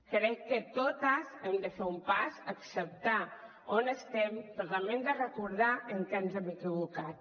crec que totes hem de fer un pas acceptar on estem però també hem de recordar en què ens hem equivocat